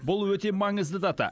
бұл өте маңызды дата